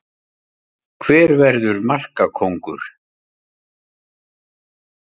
Álitið: Hver verður markakóngur?